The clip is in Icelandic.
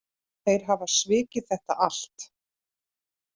Þeir hafa svikið þetta allt